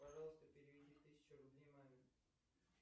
пожалуйста переведи тысячу рублей маме